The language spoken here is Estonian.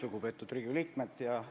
Lugupeetud Riigikogu liikmed!